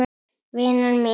Vina mín!